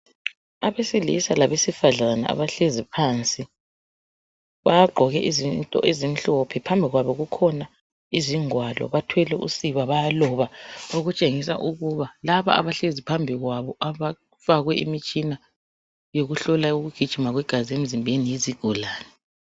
Abesilisa labesifazana abahlezi phansi bagqoke izinto ezimhlophe phambi kwabo kukhona izingwalo, bathwele usiba bayaloba okutshengisa ukuba laba abahlezi phambi abafakwe imitshina yokuhlola ukugijima kwegazi emzimbeni yizigulani.